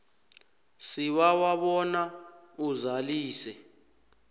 sibawa bona uzalise